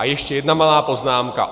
A ještě jedna malá poznámka.